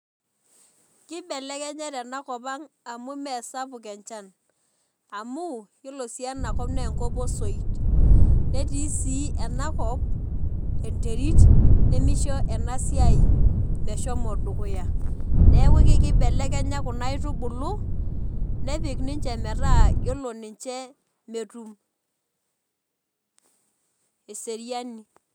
Kibelekenya tenakop aang amu masapuk enchan amu yiolosi enakop na enkop osoit netii si enakop enterit nemisho enasiai meshomo dukuya neaku kibelekenyakuna aitubulu nepik ninche metaa ore ninche metum eseriani.